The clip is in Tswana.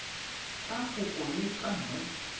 tsa kopo le tsa nt